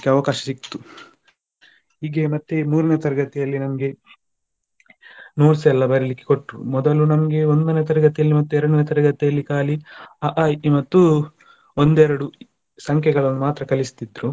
ಅವಕಾಶ ಸಿಗ್ತು ಹೀಗೆ ಮತ್ತೆ ಮೂರನೇ ತರಗತಿಯಲ್ಲಿ ನನಗೆ notes ಎಲ್ಲ ಬರೀಲಿಕ್ಕೆ ಕೊಟ್ರು ಮೊದಲು ನಮಗೆ ಒಂದನೇ ತರಗತಿಯಲ್ಲಿ ಮತ್ತೆ ಎರಡನೇ ತರಗತಿಯಲ್ಲಿ ಖಾಲಿ ಅ ಆ ಇ ಈ ಮತ್ತು ಒಂದು ಎರಡು ಸಂಖ್ಯೆಗಳನ್ನು ಮಾತ್ರ ಕಲಿಸ್ತಿದ್ರು,